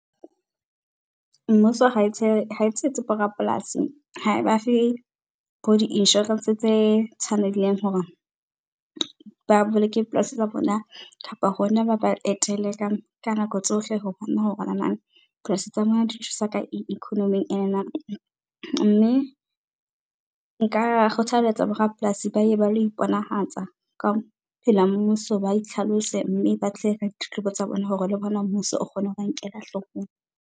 Mmuso ha e , ha e tshehetse bo rapolasi, ha e ba fe bo di-insurance tse tshwaneileng hore ba boloke polasi tsa bona kapa hona ba ba etele ka nako tsohle ho bona hore polasi tsa bona di thusa ka eng economy . Mme nka kgothaletsa bo rapolasi ba ye balo iponahatsa ka pela mmuso, ba itlhalose mme ba tle ka ditletlebo tsa bona hore le bona mmuso o kgone ho ba nkela hloohong.